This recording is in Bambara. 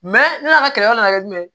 ne yɛrɛ ka kɛlɛ dɔ nana kɛ jumɛn ye